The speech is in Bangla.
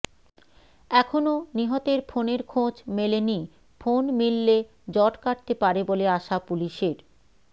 এখনও নিহতের ফোনের খোঁজ মেলেনি ফোন মিললে জট কাটতে পারে বলে আশা পুলিশের